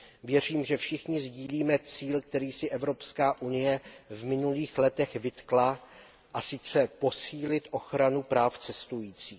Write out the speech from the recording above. Věřím, že všichni sdílíme cíl, který si EU v minulých letech vytkla, a sice posílit ochranu práv cestujících.